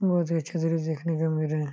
मुझे अच्छे तरह से देखने को मिल रहे हैं।